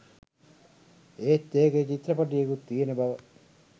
ඒත් එකේ චිත්‍රපටියකුත් තියෙන බව